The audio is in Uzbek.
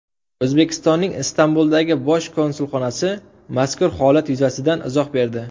O‘zbekistonning Istanbuldagi bosh konsulxonasi mazkur holat yuzasidan izoh berdi.